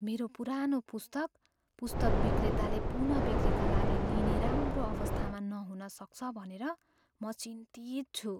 मेरो पुरानो पुस्तक पुस्तक विक्रेताले पुनः बिक्रीका लागि लिने राम्रो अवस्थामा नहुन सक्छ भनेर म चिन्तित छु।